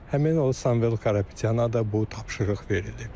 Həmin o Samvel Karapetyana da bu tapşırıq verilib.